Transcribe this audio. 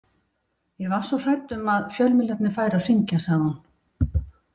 Ég var svo hrædd um að fjölmiðlarnir færu að hringja, sagði hún.